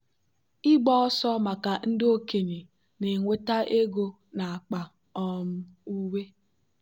ịgba ọsọ maka ndị okenye na-enweta ego n'akpa um uwe.